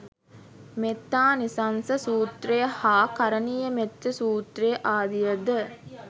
මෙත්තානිසංස සූත්‍රය හා කරණීයමෙත්ත සූත්‍රය ආදිය ද